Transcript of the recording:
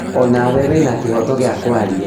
Onawe wĩna kĩhoto gĩa kwaria